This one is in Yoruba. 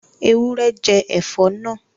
Ewúrẹ́ jẹ ẹ̀fọ́ náà